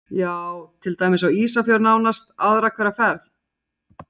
Heimir Már: Já, til dæmis á Ísafjörð nánast aðra hverja ferð?